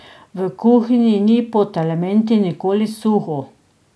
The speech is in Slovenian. V kuhinji ni pod elementi nikoli suho.